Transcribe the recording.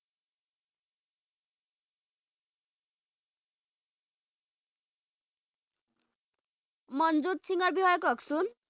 মনজুট সিঙৰ বিষয়ে কওকচোন